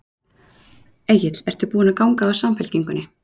Egill: Ertu búin að ganga úr Samfylkingunni?